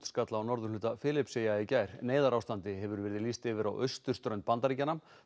skall á norðurhluta Filippseyja í gær neyðarástandi hefur verið lýst yfir á austurströnd Bandaríkjanna